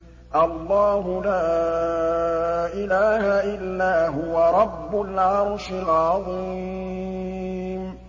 اللَّهُ لَا إِلَٰهَ إِلَّا هُوَ رَبُّ الْعَرْشِ الْعَظِيمِ ۩